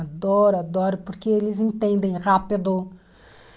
Adoro, adoro, porque eles entendem rápido